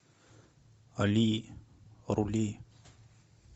али рули